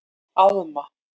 Alma